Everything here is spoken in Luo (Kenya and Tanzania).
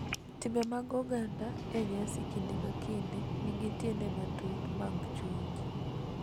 timbe mag oganda e nyasi kinde ka kinde nigi tiende matut mag chunje ,